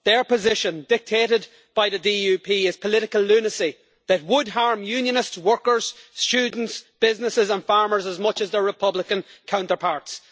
Their position, dictated by the DUP, is political lunacy that would harm Unionist workers, students, businesses and farmers as much as their Republican counterparts.